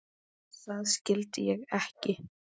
Það skildi ég ekki.